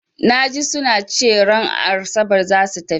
Na ji su na cewa ran Asabar za su tafi.